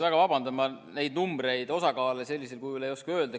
Väga vabandan, ma neid numbreid, osakaale sellisel kujul ei oska öelda.